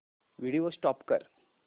video stop कर